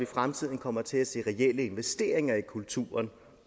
fremtiden kommer til at se reelle investeringer i kulturen